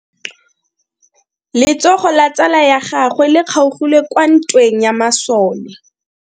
Letsogo la tsala ya gagwe le kgaogile kwa ntweng ya masole.